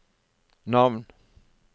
navn